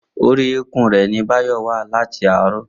Orí eékún rẹ̀ ni Báyọ̀ wà láti àárọ̀